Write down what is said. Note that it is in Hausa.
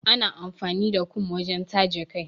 Ana amfani da kum wajen taje kai.